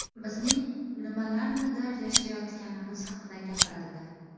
Bizning nimalarnidir yashirayotganimiz haqida gapirildi.